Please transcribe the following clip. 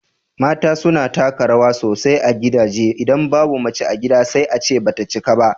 mata suna taka rawa sosai a gidaje, idan babu mace a gida sai a ce ba ta cika ba.